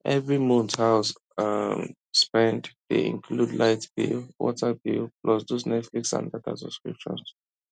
every month house um spend dey include light bill water bill plus those netflix and data subscriptions